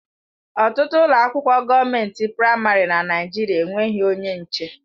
Ọtụtụ ụlọ akwụkwọ gọọment praịmarị na Naijiria enweghị onye nche.